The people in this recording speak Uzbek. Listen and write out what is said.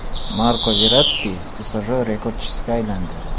Marko Verratti PSJ rekordchisiga aylandi.